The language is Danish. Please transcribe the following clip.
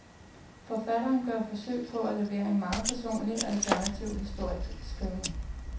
Forfatteren gør forsøg på at levere en meget personlig, alternativ historieskriving.